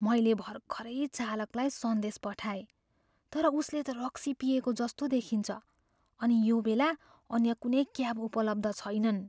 मैले भर्खरै चालकलाई सन्देश पठाएँ तर उसले त रक्सी पिएको जस्तो देखिन्छ अनि यो बेला अन्य कुनै क्याब उपलब्ध छैनन्।